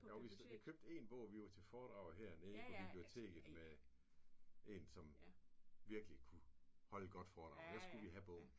Jo vi vi købte 1 bog vi var til foredrag hernede på biblioteket med en som virkelig kunne holde godt foredrag. Der skulle vi have bogen